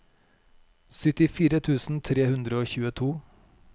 syttifire tusen tre hundre og tjueto